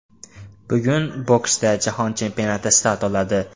Bugun boksda Jahon chempionati start oladi.